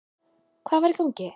Hvað er í gangi?